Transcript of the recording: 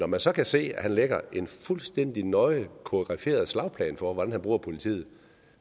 man så kan se at han lægger en fuldstændig nøje koreograferet slagplan for hvordan han bruger politiet